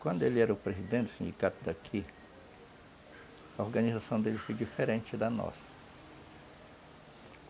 Quando ele era o presidente do sindicato daqui, a organização dele foi diferente da nossa.